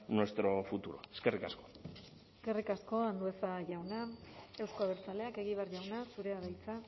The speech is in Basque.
nuestro futuro eskerrik asko eskerrik asko andueza jauna euzko abertzaleak egibar jauna zurea da hitza